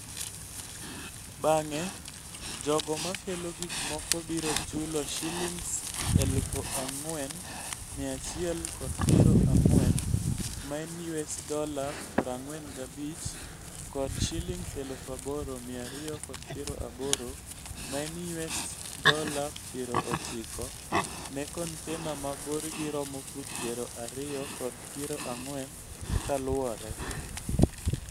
Bang'e, jogo makelo gik moko biro chulo ShSh4,140 (US$45) kod Sh8,280 (US$90) ne container ma borgi romo fut 20 kod 40 kaluwore.